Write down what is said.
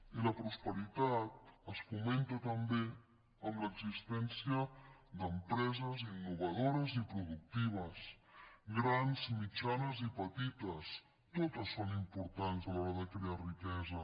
i la prosperitat es fomenta també amb l’existència d’empreses innovadores i productives grans mitjanes i petites totes són importants a l’hora de crear riquesa